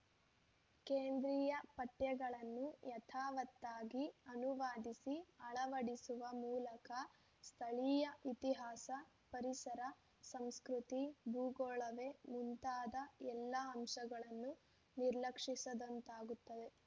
ಕೇಂದ್ರೀಯ ಪಠ್ಯಗಳನ್ನು ಯಥಾವತ್ತಾಗಿ ಅನುವಾದಿಸಿ ಅಳವಡಿಸುವ ಮೂಲಕ ಸ್ಥಳೀಯ ಇತಿಹಾಸ ಪರಿಸರ ಸಂಸ್ಕೃತಿ ಭೂಗೋಳವೇ ಮುಂತಾದ ಎಲ್ಲ ಅಂಶಗಳನ್ನು ನಿರ್ಲಕ್ಷಿಸಿದಂತಾಗುತ್ತದೆ